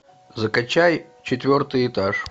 закачай четвертый этаж